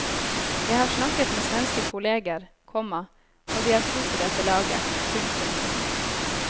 Jeg har snakket med svenske kolleger, komma og de har tro på dette laget. punktum